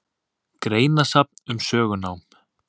Greinasafn um sögunám.